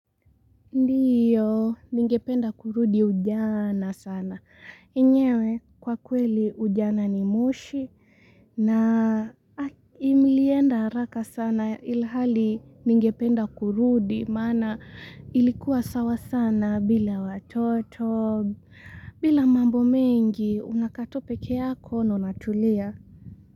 Ndiyo ningependa kurudi ujana sana. Enyewe kwa kweli ujana ni moshi na imilienda haraka sana ilhali ningependa kurudi maana ilikuwa sawa sana bila watoto bila mambo mengi unakaa tu peke yako na unatulia.